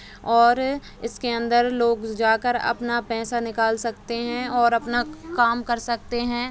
और इसके अंदर लोग जाकर अपना पैसा निकाल सकते हैं और अपना काम कर सकते हैं।